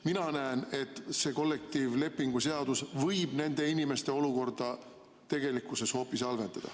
Mina näen, et kollektiivlepingu seadus võib nende inimeste olukorda tegelikkuses hoopis halvendada.